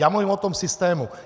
Já mluvím o tom systému.